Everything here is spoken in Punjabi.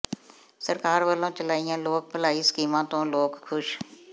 ਸਰਕਾਰ ਵੱਲੋਂ ਚਲਾਈਆਂ ਲੋਕ ਭਲਾਈ ਸਕੀਮਾਂ ਤੋਂ ਲੋਕ ਖੁਸ਼